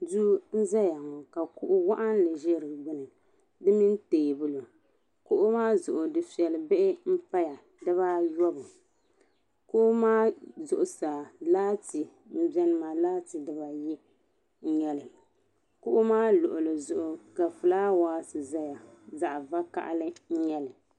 Duu n zayaŋɔ ka kuɣu waɣinli za di gbuni, di mini teebuli, kuɣumaa zuɣu difeli bihi n paya dibaayɔbu kuɣu maa zuɣu saa laati n beni maa laati diba ayi n nyɛli, kuɣu maa luɣili zuɣu ka fulaa wase ʒɛya zaɣi vakahali n nyɛli